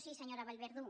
sí senyora vallverdú